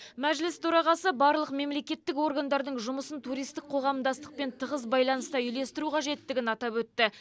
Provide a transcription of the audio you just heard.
мәжіліс төрағасы барлық мемлекеттік органдардың жұмысын туристік қоғамдастықпен тығыз байланыста үйлестіру қажеттігін атап өтті